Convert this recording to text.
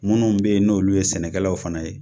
Minnu be yen n'olu ye sɛnɛkɛlaw fana ye